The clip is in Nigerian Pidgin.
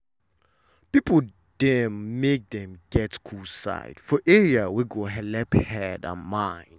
people dem make dey get cool side for area wey go helep head and mind.